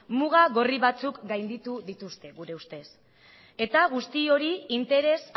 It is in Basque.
muga gorri batzuk gainditu dituzte gure ustez eta guzti hori interes